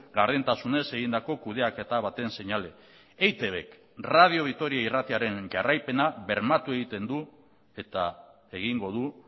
gardentasunez egindako kudeaketa baten seinale eitbk radio vitoria irratiaren jarraipena bermatu egiten du eta egingo du